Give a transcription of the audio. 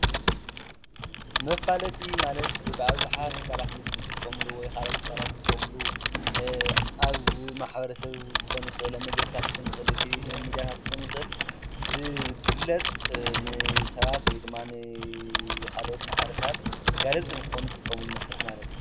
መፋለጢ ማለት ብኣብዘሓ ትካላት ንግዲ ዝጥቀምሉ ኣብ መንገዲ፣ ኣብ ተለቨዥን፣ ረድዮ መጋውሒ ይጥቀምሉ።